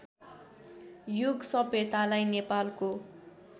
युग सभ्यतालाई नेपालको